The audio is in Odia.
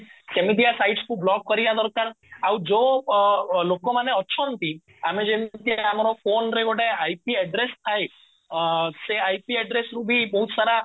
ସେମିତିଆ sites କୁ ବ୍ଲକ କରିବା ଦରକାର ଆଉ ଯୋଉ ଲୋକ ମାନେ ଅଛନ୍ତି ଆମେ ଯେମିତି ଏଟା ଆମର phoneରେ ଗୋଟେ IP address ଥାଏ ଅ ସେ IP address ରୁ ବି ବହୁତ ସାରା